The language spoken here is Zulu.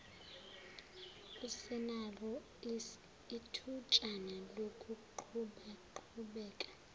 usenalo ithutshana lokuqhubaqhubeka